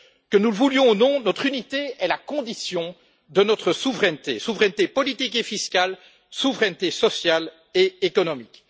Que nous le voulions ou non, notre unité est la condition de notre souveraineté, souveraineté politique et fiscale, souveraineté sociale et économique.